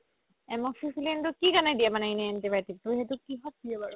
amoxicillin তো কি কাৰণে দিয়ে এনে antibiotic টো সেইটো কিহত দিয়ে বাৰু